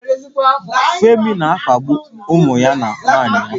Femi na-akpagbu ụmụ ya na nwunye ya